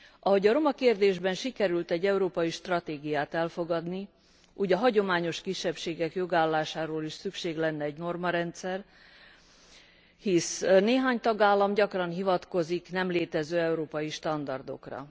Ahogy a roma kérdésben sikerült egy európai stratégiát elfogadni, úgy a hagyományos kisebbségek jogállásáról is szükség lenne egy normarendszer, hisz néhány tagállam gyakran hivatkozik nem létező európai standardokra.